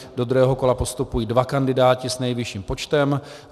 Do druhého kola postupují dva kandidáti s nejvyšším počtem.